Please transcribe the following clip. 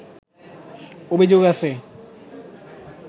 অভিযোগ আছে